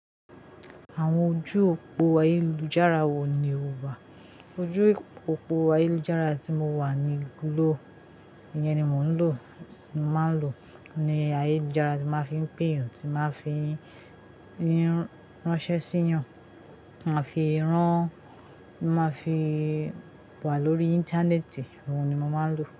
Àwọn ojú òpó ayélujára wo ni o wà? Ojú òpó ayélujára tí mo wà ni gló, ìyẹn ni mo ń lò. Mo máa ń lò ní ayélujára ni máa ń fi ń pè èeyàn, tí máa ń fi ránṣẹ́ sí èèyàn, máa fi rán, máa fi wà lórí Íńtánẹ́ẹ̀tì, ohun ni mo máa ń lò.